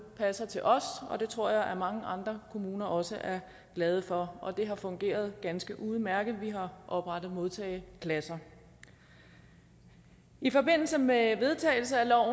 passer til os og det tror jeg at mange andre kommuner også er glade for og det har fungeret ganske udmærket vi har oprettet modtageklasser i forbindelse med vedtagelsen af